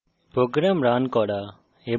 program compile করা